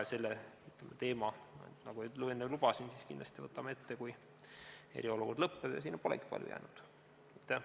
Selle teema, nagu ma enne lubasin, võtame kindlasti ette, kui eriolukord lõpeb, ja sinna polegi palju aega jäänud.